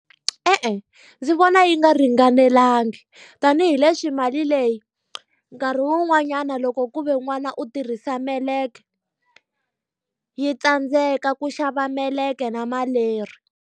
E-e ndzi vona yi nga ringanelangi, tanihileswi mali leyi nkarhi wun'wanyana loko ku ve n'wana u tirhisa meleke, yi tsandzeka ku xava meleke na maleri.